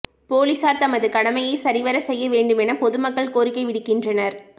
பொலிஸார் தமது கடமையை சரிவரச் செய்ய வேண்டுமென பொது மக்கள் கோரிக்கை விடுக்கின்றனர்